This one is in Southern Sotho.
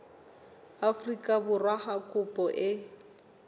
afrika borwa ha kopo e